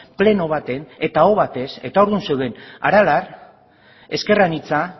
pleno baten eta aho batez eta ordun zeuden aralar ezker anitza